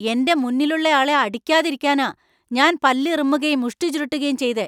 എന്‍റെ മുന്നിലുള്ളയാളെ അടിക്കാതിരിക്കാനാ ഞാൻ പല്ല് ഇറുമ്മുകേം മുഷ്ടി ചുരുട്ടുകേം ചെയ്തെ.